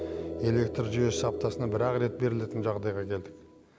электр жүйесі аптасына бір ақ рет берілетін жағдайға келдік